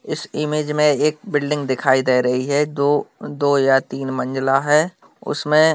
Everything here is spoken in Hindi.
इस इमेज एक बिल्डिंग दिखाई दे रही है दो-दो या तीन मंजिला है उसमें--